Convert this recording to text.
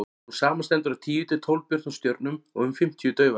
hún samanstendur af tíu til tólf björtum stjörnum og um fimmtíu daufari